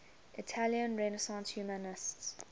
italian renaissance humanists